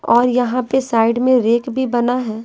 और यहाँ पे साइड में रेक भी बना है।